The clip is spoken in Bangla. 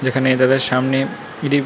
যেখানে এ দাদার সামনে ইডি--